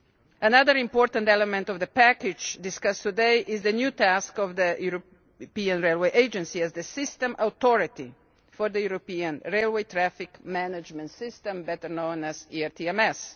Another important element of the package discussed today is the new task of the European Railway Agency as the system authority for the European Railway Traffic Management System, better known as ERTMS.